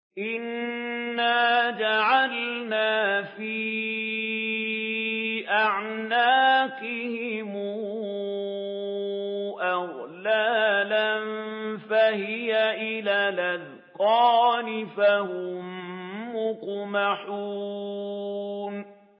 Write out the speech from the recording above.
إِنَّا جَعَلْنَا فِي أَعْنَاقِهِمْ أَغْلَالًا فَهِيَ إِلَى الْأَذْقَانِ فَهُم مُّقْمَحُونَ